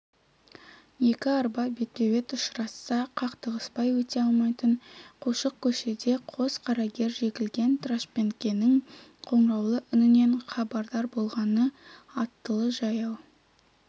екі арба бетпе-бет ұшырасса қақтығыспай өте алмайтын қушық көшеде қос қарагер жегілген трашпенкенің қоңыраулы үнінен хабардар болған аттылы-жаяу